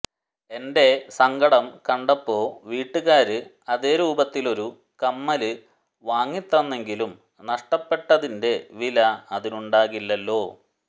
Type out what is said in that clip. എന്റെ സങ്കടം കണ്ടപ്പോ വീട്ടുകാര് അതേ രൂപത്തിലൊരു കമ്മല് വാങ്ങിത്തന്നെങ്കിലും നഷ്ടപ്പെട്ടതിന്റെ വില അതിനുണ്ടാകില്ലല്ലോ